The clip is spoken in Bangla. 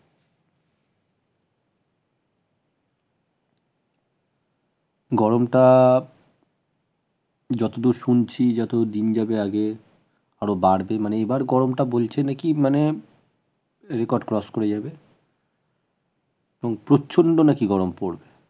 গরমটা যতদূর শুনছি যতদিন যাবে আগে আরও বাড়বে মানে এবার গরমটা বলছে নাকি মানে record cross করে যাবে এবং প্রচন্ড নাকি গরম পড়বে